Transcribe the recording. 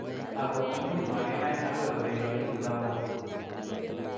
Ako imuch makinai akoi koechekitu lakok.